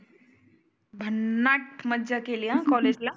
भन्नाट मज्जा केली अं कॉलेज ला.